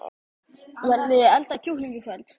Viljiði elda kjúkling í kvöld?